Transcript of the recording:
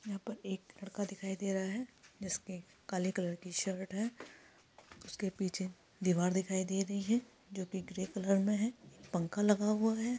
यहां पर एक लड़का दिखाई दे रहा है जिसकी काले कलर की शर्ट है उसके पीछे दीवार दिखाई दे रही है जो की ग्रे कलर में है पंख लगा हुआ है ।